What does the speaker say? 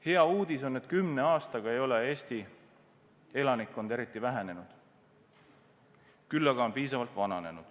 Hea uudis on, et kümne aastaga ei ole Eesti elanikkond eriti vähenenud, küll aga on päris palju vananenud.